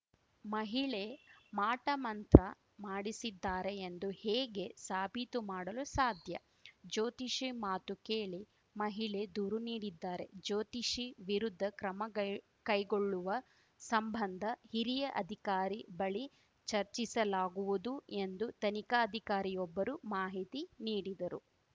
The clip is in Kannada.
ಮಹಿಳೆ ಮಾಟಮಂತ್ರ ಮಾಡಿಸಿದ್ದಾರೆ ಎಂದು ಹೇಗೆ ಸಾಬೀತು ಮಾಡಲು ಸಾಧ್ಯ ಜ್ಯೋತಿಷಿ ಮಾತು ಕೇಳಿ ಮಹಿಳೆ ದೂರು ನೀಡಿದ್ದಾರೆ ಜ್ಯೋತಿಷಿ ವಿರುದ್ಧ ಕ್ರಮ ಗೈ ಕೈಗೊಳ್ಳುವ ಸಂಬಂಧ ಹಿರಿಯ ಅಧಿಕಾರಿ ಬಳಿ ಚರ್ಚಿಸಲಾಗುವುದು ಎಂದು ತನಿಖಾಧಿಕಾರಿಯೊಬ್ಬರು ಮಾಹಿತಿ ನೀಡಿದರು